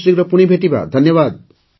ଖୁବ୍ଶୀଘ୍ର ପୁଣି ଭେଟିବା ଧନ୍ୟବାଦ